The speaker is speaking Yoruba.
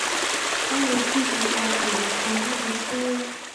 wón lọ síbi àpérò kan níbi tí wón